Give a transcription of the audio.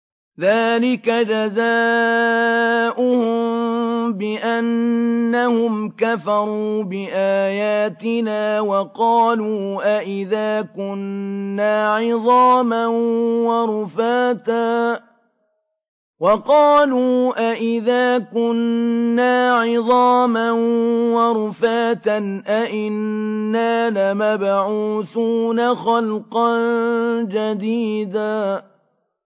ذَٰلِكَ جَزَاؤُهُم بِأَنَّهُمْ كَفَرُوا بِآيَاتِنَا وَقَالُوا أَإِذَا كُنَّا عِظَامًا وَرُفَاتًا أَإِنَّا لَمَبْعُوثُونَ خَلْقًا جَدِيدًا